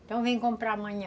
Então vem comprar amanhã.